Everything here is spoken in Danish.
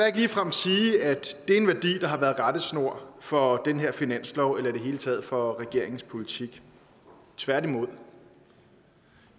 ikke ligefrem sige at det er en værdi der har været rettesnor for den her finanslov eller i det hele taget for regeringens politik tværtimod